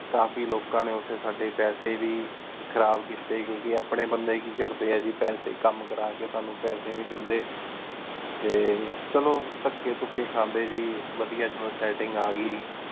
ਕਾਫੀ ਲੋਕਾਂ ਨੀ ਓਥੀ ਸਾਡੀ ਪੇਸੀ ਵੀ ਖਰਾਬ ਕੀਤੀ ਕ੍ਯੋਉਣ ਕ ਅਪਨੀ ਬੰਦੀ ਏ ਕੀ ਕਰਦੀ ਆ ਗੀ ਕਾਮ ਕਰ ਕ ਸਾਨੂ ਪੇਸੀ ਨੀ ਦੇਂਦੀ ਟੀ ਚਲੋ ਤੱਕੀ ਟੁੱਕੀ ਖੰਡੀ ਗੀ ਵਾਦਿਯ ਸੇਤ੍ਟਿੰਗ ਆ ਗਈ